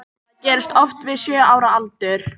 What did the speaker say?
Það gerist oft við sjö ára aldur.